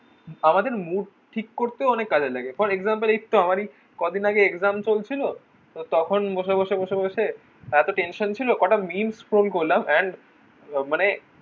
আমাদের mood ঠিক করতেও অনেক কাজে লাগে for example এইতো আমারি কদিন আগে exam চলছিল তখন বসে বসে বসে বসে এত tension ছিল কটা memes scroll করলাম and মানে